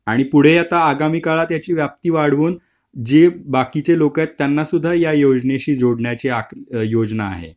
आणि पुढे आता आगामी काळात यांची व्याप्ती वाढवून जे बाकीचे लोक आहेत त्यांचा सुद्धा या योजनेशी जोडण्याचे आकने योजना आहे .